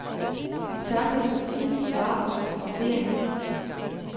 Vi takkede for tid, svar og fotografering.